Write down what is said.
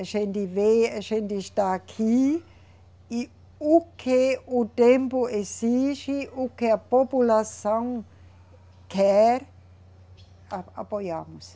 A gente vê, a gente está aqui e o que o tempo exige, o que a população quer, a, apoiamos.